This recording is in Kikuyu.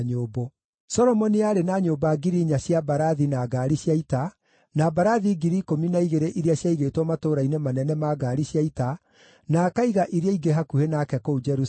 Solomoni aarĩ na nyũmba 4,000 cia mbarathi na ngaari cia ita, na mbarathi 12,000 iria ciaigĩtwo matũũra-inĩ manene ma ngaari cia ita, na akaiga iria ingĩ hakuhĩ nake kũu Jerusalemu.